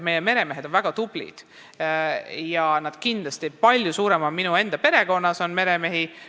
Meie meremehed on väga tublid, ka minu enda perekonnas on meremehi.